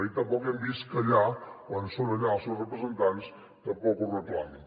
i tampoc hem vist que allà quan són allà els seus representants ho reclamin